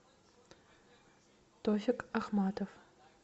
тофик ахматов